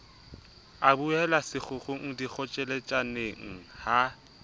e buela sekgukgung dikgotjheletsaneng ha